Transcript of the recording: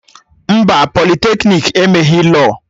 Mba, politeknik emeghị lọọ